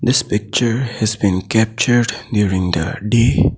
This picture has been captured during the day